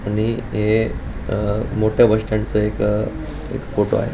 आणि हे अ मोठ बस स्टँड च एक एक फोटो आहे.